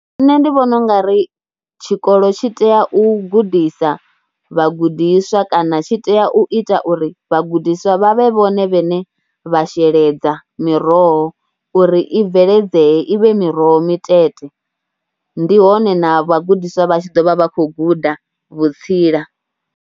Nṋe ndi vhona u nga ri tshikolo tshi tea u gudisa vhagudiswa kana tshi tea u ita uri vhagudiswa vha vhe vhone vhaṋe vha sheledza miroho, uri i bveledzee i vhe miroho mitete. Ndi hone na vhagudiswa vha ḓo vha vha tshi khou guda vhutsila.